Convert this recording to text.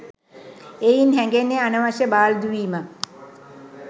එයින් හැගෙන්නේ අනවශ්‍ය බාල්දු වීමක්